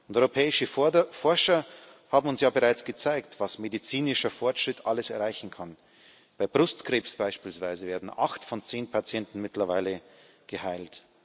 Europäische Forscher haben uns ja bereits gezeigt, was medizinischer Fortschritt alles erreichen kann. Bei Brustkrebs beispielsweise werden acht von zehn Patienten mittlerweile geheilt.